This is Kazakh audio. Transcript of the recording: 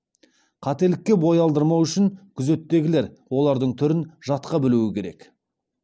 қателікке бой алдырмау үшін күзеттегілер олардың түрін жатқа білу керек